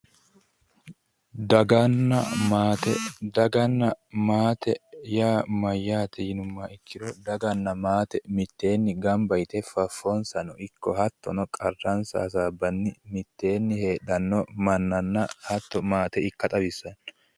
daganna maate daganna maate yaa mayyate yinummoha ikkiro daganna maate mitteenni gamba yite faffonsano ikko hattono qarransano hasaabbanni mitteenni heedhanno mannanna hatto maate ikka xawissanno.